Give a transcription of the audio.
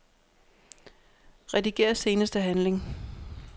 Rediger seneste handling.